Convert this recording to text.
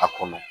A kɔnɔ